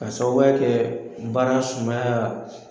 Ka sababuya kɛ baara sumaya